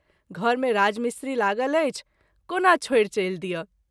घर मे राज मिस्री लागल अछि, कोना छोड़ि चलि दिअ।